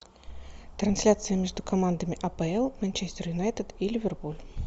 трансляция между командами апл манчестер юнайтед и ливерпуль